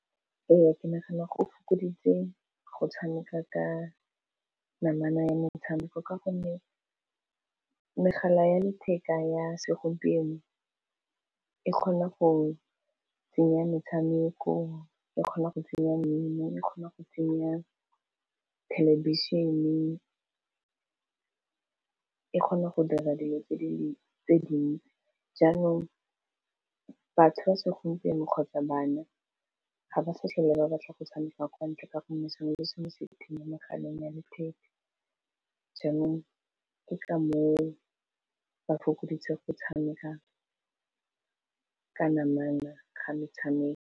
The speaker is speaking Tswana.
Ee, ke nagana go fokoditse go tshameka ka namana ya metshameko ka gonne megala ya letheka ya segompieno e kgona go tsenya metshameko, e kgona go tsenya mmino, e kgona go tsenya thelebišhene, e kgona go dira dilo tse dingwe tse dinnye, jaanong batho ba segompieno kgotsa bana ga ba sa tlhole ba batla go tshameka kwa ntle ka gonne sengwe le sengwe se teng mo mogaleng ya letheka, jaanong ke ka moo ba fokoditseng go tshameka ka namana ga metshameko.